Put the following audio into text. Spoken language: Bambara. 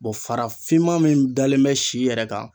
farafinma min dalen bɛ si yɛrɛ kan.